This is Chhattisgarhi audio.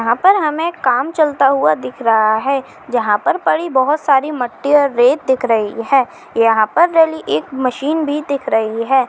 यहाँ पर हमे काम चलता हुआ दिख रहा है जहां पर पड़ी बाहुत सारी मट्टी और रेत दिख रही है यहाँ पर डली एक मशीन भी दिख रही है।